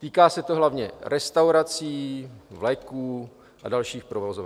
Týká se to hlavně restaurací, vleků a dalších provozoven.